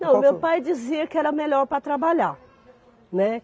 Não, meu pai dizia que era melhor para trabalhar, né?